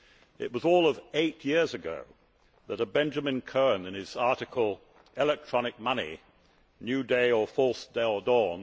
It was all of eight years ago that a Benjamin Cohen, in his article, Electronic Money New Day or False Dawn?',